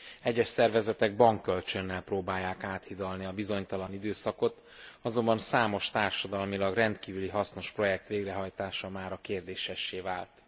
Egyes szervezetek bankkölcsönnel próbálják áthidalni a bizonytalan időszakot, azonban számos társadalmilag rendkívüli hasznos projekt végrehajtása mára kérdésessé vált.